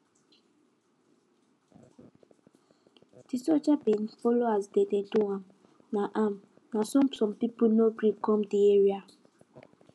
de soldiers bin follow as dem dey do am na am na so some people no gree come de area